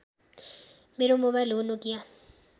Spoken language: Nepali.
मेरो मोबाइल हो नोकिया